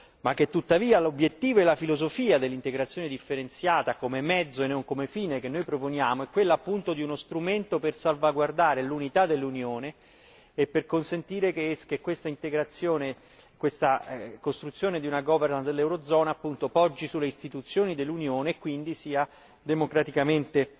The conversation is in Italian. ma che tuttavia l'obiettivo e la filosofia dell'integrazione differenziata come mezzo e non come fine che noi proponiamo è quella appunto di uno strumento per salvaguardare l'unità dell'Unione e per consentire che questa integrazione, questa costruzione di una governance dell'eurozona poggi sulle istituzioni dell'Unione e quindi sia democraticamente